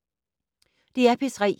DR P3